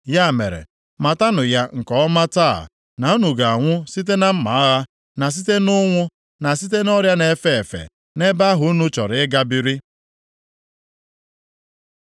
Ya mere, matanụ ya nke ọma taa na unu ga-anwụ site na mma agha, na site nʼụnwụ, na site nʼọrịa na-efe efe, nʼebe ahụ unu chọrọ ịga biri.”